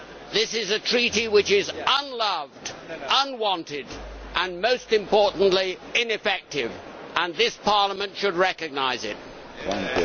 This is a Treaty that is unloved, unwanted and, most importantly, ineffective, and this Parliament should recognise the fact.